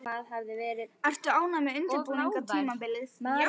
Ertu ánægð með undirbúningstímabilið?